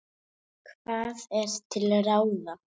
Hvað er til ráða